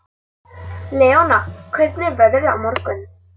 Leona, hvernig er veðrið á morgun?